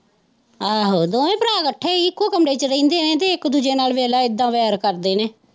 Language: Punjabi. ਆਹੋ ਦੋਵੇ ਭਰਾ ਇਕੱਠੇ ਇੱਕੋ ਕਮਰੇ ਵਿੱਚ ਰਹਿੰਦੇ ਹੈ ਤੇ ਇੱਕ ਦੂਜੇ ਨਾਲ ਵੇਖ ਲੈ ਇਹਦਾ ਵੈਰ ਕਰਦੇ ਨੇ।